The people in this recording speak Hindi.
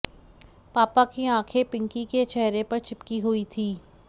पापा की आंखें पिंकी के चेहरे पर चिपकी हुई थीं